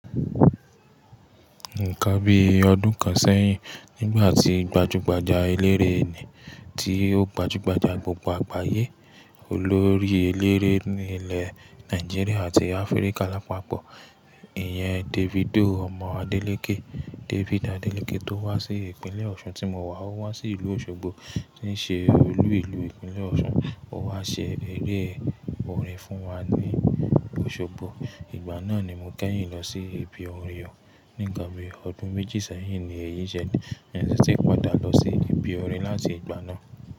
Nìkan bí ọdún kan sẹ́yìn nígbà tí gbajúgbajà eléré ni tí ó gbajúgbajà gbogbo àgbáyé, olórí eléré ní ilẹ̀ Nàìjíríà àti Áfríkà lápapọ̀, ìyẹn Davido ọmọ Adélekè, David Adélekè tó wá sí ìpínlẹ̀ Ọ̀ṣun tí mo wà. Ó wá sí ìlú Òṣogbo tí ń ṣe olú ìlú ìpínlẹ̀ Ọ̀ṣun. Ó wá ṣe eré orin fún wa ní Òṣogbo. Ìgbà náà ni mo kẹ́yìn lọ sí Ibi orin o. Ní ǹkan bí ọdún méjì sẹ́yìn ni èyí ṣele I sì ti padà lọ sí Ibi Oore láti ìgbà náà.